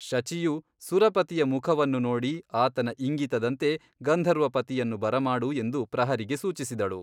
ಶಚಿಯು ಸುರಪತಿಯ ಮುಖವನ್ನು ನೋಡಿ ಆತನ ಇಂಗಿತದಂತೆ ಗಂಧರ್ವಪತಿಯನ್ನು ಬರಮಾಡು ಎಂದು ಪ್ರಹರಿಗೆ ಸೂಚಿಸಿದಳು.